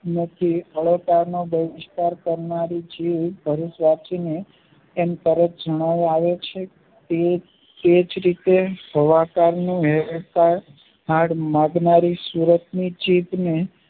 નથી અલંકારના બહિષ્કાર કરનારી જીવ ભરૂચ વશીને એમ કરે જણાવો આવે છે તેજ રીતે સુરતની ચિત્તને